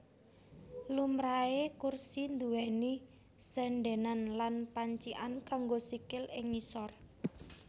Lumrahé kursi nduwèni sèndènan lan pancikan kanggo sikil ing ngisor